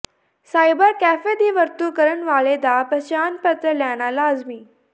cyber cafe ਦੀ ਵਰਤੋਂ ਕਰਨ ਵਾਲੇ ਦਾ ਪਛਾਣ ਪੱਤਰ ਲੈਣਾ ਲਾਜ਼ਮੀ